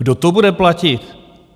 Kdo to bude platit?